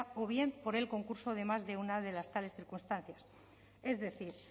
o bien por el concurso de más de una de las tales circunstancias es decir